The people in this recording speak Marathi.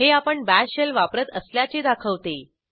हे आपणBash Shellवापरत असल्याचे दाखवते